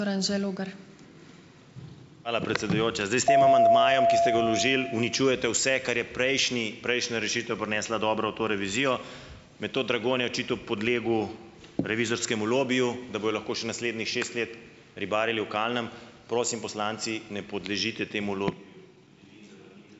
Hvala, predsedujoča. Zdaj s tem amandmajem, ki ste ga vložili, uničujete vse, kar je prejšnji, prejšnja rešitev prinesla dobro v to revizijo. Metod Dragonja je očitno podlegel revizorskemu lobiju, da bojo lahko še naslednjih šest let ribarili v kalnem, prosim, poslanci, ne podlezite temu